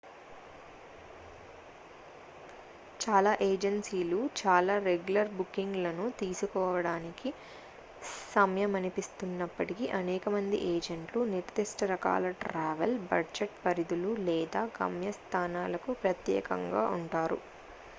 చాలా ఏజెన్సీలు చాలా రెగ్యులర్ బుకింగ్ లను తీసుకోవడానికి సంయమనిస్తున్నప్పటికీ అనేక మంది ఏజెంట్లు నిర్ధిష్ట రకాల ట్రావెల్ బడ్జెట్ పరిధులు లేదా గమ్యస్థానాలకు ప్రత్యేకంగా ఉంటారు